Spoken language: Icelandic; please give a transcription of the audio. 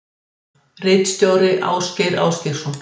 Ritstjóri Ásgeir Ásgeirsson.